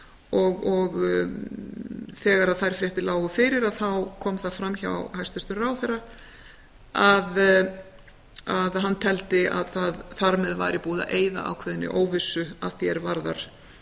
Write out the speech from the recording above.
og þegar þær fréttir lágu fyrir þá kom það fram hjá hæstvirtum ráðherra að hann teldi að þar með væri búið að eyða ákveðinni óvissu að því er varðar